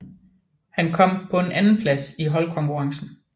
Han kom på en andenplads i holdkonkurrencen